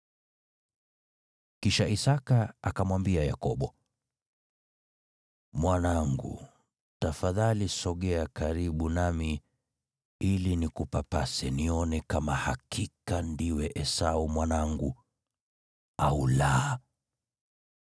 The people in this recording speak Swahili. Kisha Isaki akamwambia Yakobo, “Mwanangu tafadhali sogea karibu nami ili nikupapase, nione kama hakika ndiwe Esau mwanangu, au la.”